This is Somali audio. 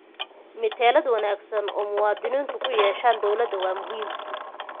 Metelaad wanaagsan oo muwaadiniintu ku yeeshaan dawladda waa muhiim.